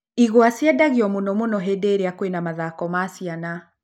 Igwa ciendagio mũno mũno hĩndĩ ĩrĩa kwĩna mathako ma ciana.